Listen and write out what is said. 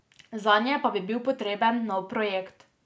Zanje pa bi bil potreben nov projekt.